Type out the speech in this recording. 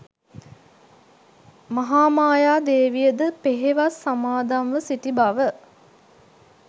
මහාමායා දේවියද පෙහෙවස් සමාදම්ව සිටි බව